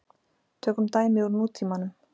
Tökum dæmi úr nútímanum.